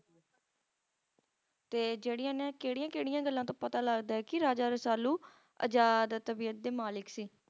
ਤੇ ਜਿਹੜੀਆਂ ਇਹਨੇ ਕਿਹੜੀਆਂ ਕਿਹੜੀਆਂ ਗੱਲਾਂ ਤੋਂ ਪਤਾ ਲਗਦਾ ਕੀ Raja Rasalu ਆਜ਼ਾਦ ਤਬੀਅਤ ਦੇ ਮਾਲਕ ਸੀ